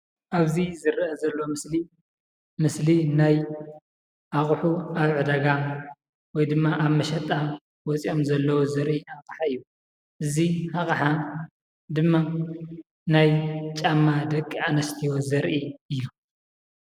አብዚ ዝርአ ዘሎ ምስሊ ምስሊ ናይ አቑሑ አብ ዕዳጋ ወይ ድማ አብ መሸጣ ወፂኦም ዘለው ዘርኢ አቅሓ እዩ፡፡ እዚ አቅሓ ድማ ናይ ጫማ ደቂ አንስትዮ ዘርኢ እዩ፡፡